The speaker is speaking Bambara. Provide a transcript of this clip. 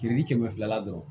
Kirili kɛmɛ filala dɔrɔn